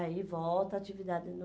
Aí volta a atividade